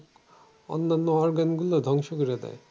অন্যান্য organ গুলো ধ্বংস করে দেয়।